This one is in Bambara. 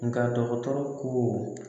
Nka dɔgɔtɔrɔ ko